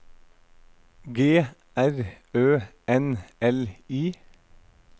G R Ø N L I